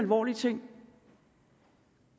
politik